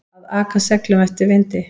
Að aka seglum eftir vindi